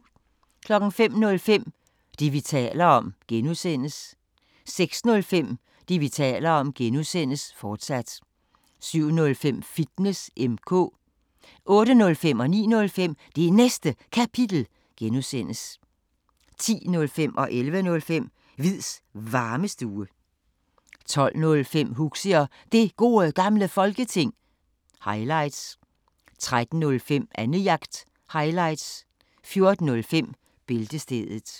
05:05: Det, vi taler om (G) 06:05: Det, vi taler om (G), fortsat 07:05: Fitness M/K 08:05: Det Næste Kapitel (G) 09:05: Det Næste Kapitel (G) 10:05: Hviids Varmestue 11:05: Hviids Varmestue 12:05: Huxi og Det Gode Gamle Folketing – highlights 13:05: Annejagt – highlights 14:05: Bæltestedet